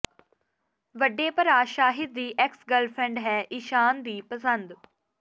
ਵੱਡੇ ਭਰਾ ਸ਼ਾਹਿਦ ਦੀ ਐਕਸ ਗਰਲਫ੍ਰੈਂਡ ਹੈ ਈਸ਼ਾਨ ਦੀ ਪਸੰਦ